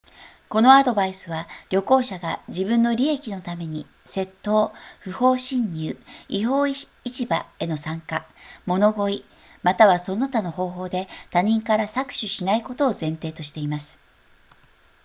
このアドバイスは旅行者が自分の利益のために窃盗不法侵入違法市場への参加物乞いまたはその他の方法で他人から搾取しないことを前提としています